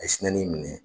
A ye sinɛ ni minɛ